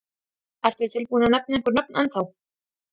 Ertu tilbúinn að nefna einhver nöfn ennþá?